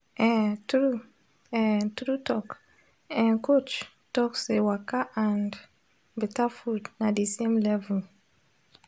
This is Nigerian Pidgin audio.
eh true eh true talk eh coach talk say waka and betta food na de same level